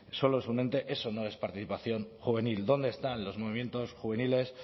solo es un ente eso no es participación juvenil dónde están los movimientos juveniles